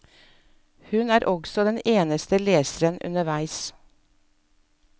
Hun er også den eneste leseren underveis.